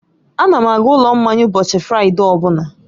Ana m aga ụlọ mmanya ụbọchị Fraịde ọ bụla